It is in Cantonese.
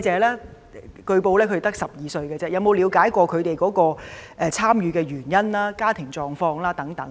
據說有關的被捕人士只有12歲，局長有否了解他們參與示威的原因和家庭狀況？